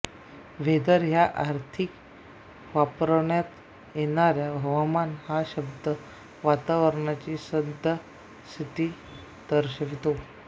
whether ह्या अर्थी वापरण्यात येणाऱ्या हवामान हा शब्द वातावरणाची सद्य स्थिती दर्शवितो